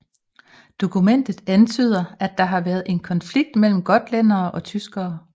Dokumentet antyder at der havde været en konflikt mellem gotlændere og tyskere